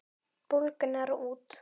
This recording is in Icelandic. Bólgnar út.